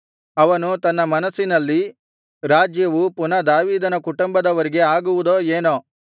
ಅವನು ತನ್ನ ಮನಸ್ಸಿನಲ್ಲಿ ರಾಜ್ಯವು ಪುನಃ ದಾವೀದನ ಕುಟುಂಬದವರಿಗೆ ಆಗುವುದೋ ಏನೋ